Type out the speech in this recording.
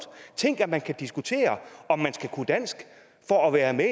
tænk at man kan diskutere om man skal kunne dansk for at være med